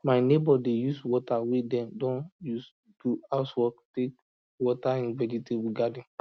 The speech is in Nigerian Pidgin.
my neighbor dey use water wey dem don use do house work take water im vegetable garden